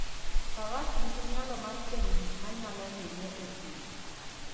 Faras nigi nyalo mar fwenyo gik manyalo hinye e thim.